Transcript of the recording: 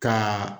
Ka